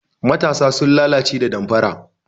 Matasa sun lalace da damfara.